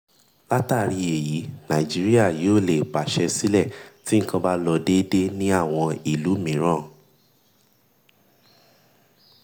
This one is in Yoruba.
látàrí èyí nàìjíríà yóò lè pàṣẹ sílẹ̀ tí nkan bá lọ dédé ní àwọn ìlú mìíràn.